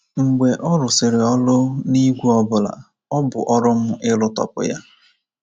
Mgbe ọ rụsịrị ọrụ n’ígwè ọ bụla, ọ bụ ọrụ m ịrụtọpụ ya.